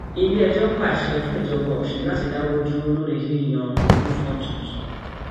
iléẹjọ pàṣẹ fún ìjọba ọsùn láti dáwọ dúró lórí yíyan lórí yíyan olùfọn tuntun